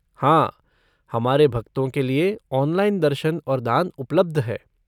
हाँ, हमारे भक्तों के लिए ऑनलाइन दर्शन और दान उपलब्ध है।